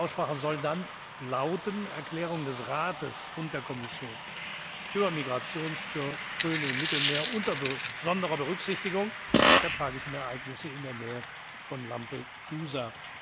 Der Titel der Aussprache soll dann lauten Erklärungen des Rates und der Kommission über Migrationsströme im Mittelmeer unter besonderer Berücksichtigung der tragischen Ereignisse in der Nähe von Lampedusa.